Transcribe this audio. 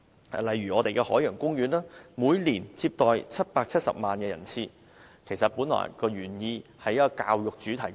舉例說，每年接待770萬人次旅客的海洋公園，原本是作為一個教育主題公園。